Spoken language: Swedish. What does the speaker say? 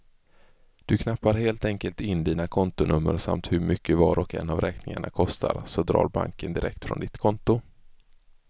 Du knappar helt enkelt in dina kontonummer samt hur mycket var och en av räkningarna kostar, så drar banken direkt från ditt konto.